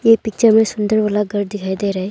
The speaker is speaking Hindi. यह पिक्चर में सुंदर वाला घर दिखाई दे रहा है।